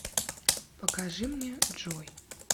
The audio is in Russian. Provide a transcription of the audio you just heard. покажи мне джой